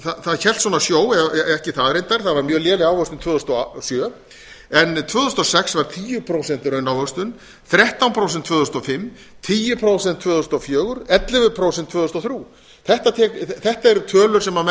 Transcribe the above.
það hélt sjó ekki það reyndar það var mjög léleg ávöxtun tvö þúsund og sjö en tvö þúsund og sex var tíu prósent raunávöxtun þrettán prósent tvö þúsund og fimm tíu prósent tvö þúsund og fjögur ellefu prósent tvö þúsund og þrjú þetta eru tölu sem menn